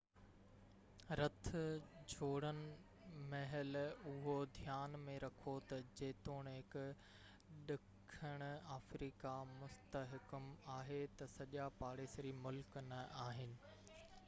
رٿ جوڙڻ مهل اهو ڌيان ۾ رکو تہ جيتوڻڪ ڏکڻ آفريڪا مستحڪم آهي تہ سڄا پاڙيسري ملڪ نہ آهن